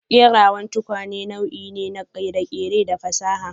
Kerawan tukwane nau'i ne na kere-kere da fasaha.